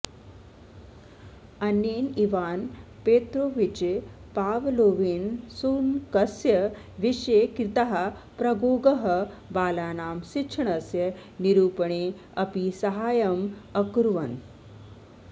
अनेन Ivan Petrovich पाव्लोवेन शुनकस्य विषये कृताः प्रगोगाः बालानां शिक्षणस्य निरूपणे अपि साहाय्यम् अकुर्वन्